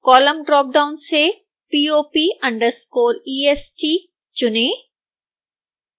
column dropdown से pop_est चुनें